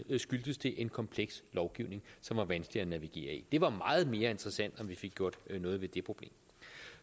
skyldtes det en kompleks lovgivning som var vanskelig at navigere i det var meget mere interessant om vi fik gjort noget ved det problem